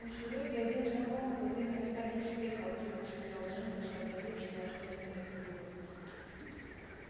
у серёги один знакомый вот именно так и съехал тихо сказал женька сообразив что артем имеет в виду